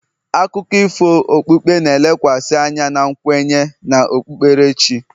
akụkọ ifo okpukpe na-elekwasị anya na nkwenye na okpukperechi